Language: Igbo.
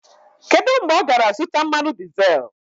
Kedu mgbe ọ gara zụta mmanụ dizel?